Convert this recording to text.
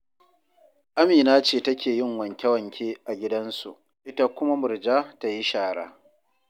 Amina ce take yin wanke-wanke a gidansu, ita kuma Murja ta yi shara